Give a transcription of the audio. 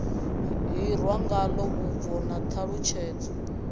hirwa ngalo vhubvo na ṱhalutshedzo